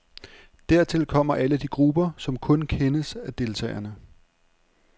Dertil kommer alle de grupper, som kun kendes af deltagerne.